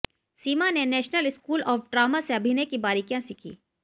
सीमा ने national school of drama से अभिनय की बारीकियां सीखी